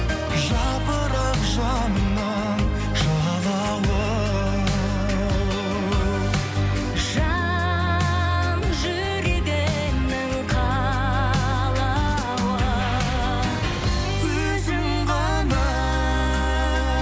жапырақ жанымның жалауы жан жүрегімнің қалауы өзің ғана